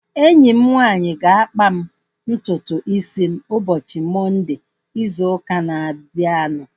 Enyi m nwanyị ga-akpa m ntutu isi m ụbọchị Mọnde izu ụka na-abịanụ